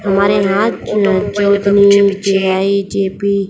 हमारे यहां --